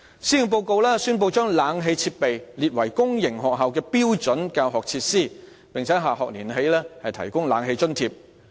施政報告宣布將空調設備列為公營學校的標準教學設施，並由下學年起提供空調設備津貼。